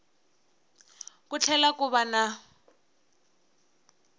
ku tlhela ku va na